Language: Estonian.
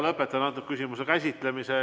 Lõpetan selle küsimuse käsitlemise.